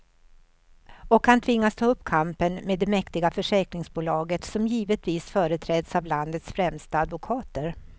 Och han tvingas ta upp kampen med det mäktiga försäkringsbolaget, som givetvis företräds av landets främsta advokater.